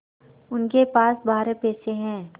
उसके पास बारह पैसे हैं